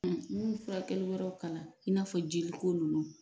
Ɔ n y'o furakɛli wɛrɛw kalan i n'a fɔ jeliko nunnu